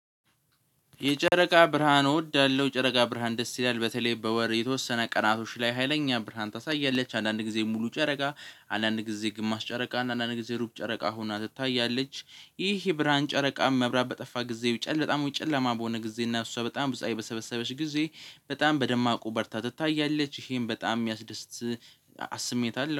የጨረቃ ብርሃን እወዳለሁ ጨረቃ ብርሃን ደስ ይላል በተለይ በወር የተወሰነ ቀናቶች ላይ ሀይለኛ ብርሃን ታሳያለች አንዳንድ ጊዜ ሙሉ ጨረቃ አንዳንድ ጊዜ ግማሽ ጨረቃ አንዳንድ ጊዜ ሩብ ጨረቃ ሆና ትታያለች። ይህ የብርሃን ጨረቃ መብራት በጠፋ ጊዜ ውጭ ጨለ በጣም ውጭ ጨለማ በሆነ ጊዜ እና እሷ በጣም ብዙ በሰበሰበች ጊዜ በጣም በደማቁ በርታ ትታያለች ይህም በጣም የሚያስደስት ስሜት አለው